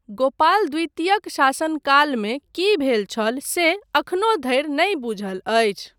गोपाल द्वितीयक शासनकालमे की भेल छल से अखनो धरि नहि बूझल अछि।